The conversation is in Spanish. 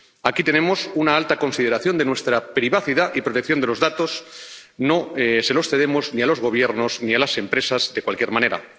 Aquí tenemos una alta consideración de nuestra privacidad y protección de los datos, no se los cedemos ni a los gobiernos ni a las empresas de cualquier manera.